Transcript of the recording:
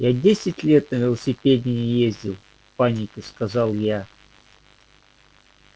я десять лет на велосипеде не ездил в панике сказал я